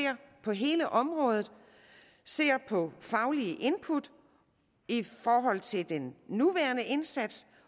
på hele området på faglige input i forhold til den nuværende indsats